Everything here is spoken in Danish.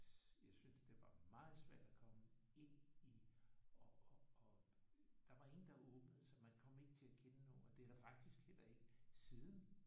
Jeg syntes at det var meget svært at komme ind i og og og der var ingen der åbnede sig. Man kom ikke til at kende nogen. Og det er der faktisk heller ikke siden